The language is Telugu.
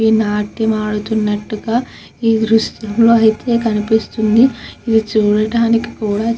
నాట్యం ఆడుతున్నట్లు గా ఈ దృశ్యంలో తెలుస్తున్నది ఇది చూడటానికి కూడా --